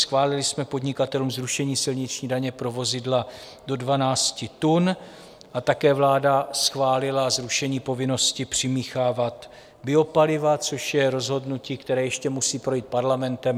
Schválili jsme podnikatelům zrušení silniční daně pro vozidla do 12 tun a také vláda schválila zrušení povinnosti přimíchávat biopaliva, což je rozhodnutí, které ještě musí projít Parlamentem.